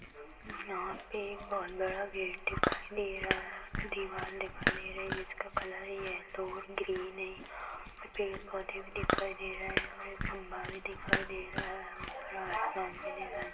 यहाँ पे एक बहुत बड़ा गेट दिखाई दे रहा है दीवाल दिखाई दे रही है जिसका कलर है येलो और ग्रीन है और पेड़ -पौधे भी दिखाई दे रहे है और एक खंभा भी दिखाई दे रहा है ऊपर आसमान भी दिखाई --